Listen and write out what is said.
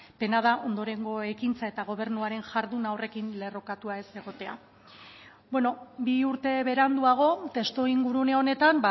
pena da ondorengo ekintza eta gobernuaren ekintza horrekin lerrokatua ez egotea bi urte beranduago testu ingurune honetan